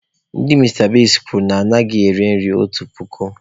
Ndị Mista Bigs kwuru na ha anaghị ere nri otu puku.